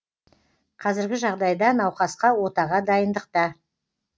қазіргі жағдайда науқасқа отаға дайындықта